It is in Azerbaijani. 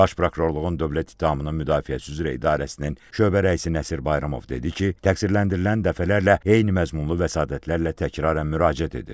Baş Prokurorluğun Dövlət ittihamının müdafiəsi üzrə idarəsinin şöbə rəisi Nəsir Bayramov dedi ki, təqsirləndirilən dəfələrlə eyni məzmunlu vəsatətlərlə təkrarən müraciət edir.